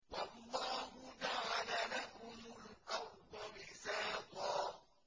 وَاللَّهُ جَعَلَ لَكُمُ الْأَرْضَ بِسَاطًا